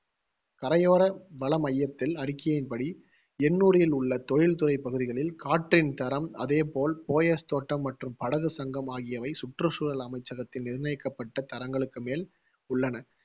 கரையோர வள மையத்தில் அறிக்கையின்படி, எண்ணூரில் உள்ள தொழில்துறை பகுதிகளில் காற்றின் தரம், அதே போல் போயஸ் தோட்டம் மற்றும் படகு சங்கம் ஆகியவை சுற்றுச்சூழல் அமைச்சகத்தில் நிர்ணயிக்கப்பட்ட தரங்களுக்கு மேல் உள்ளன.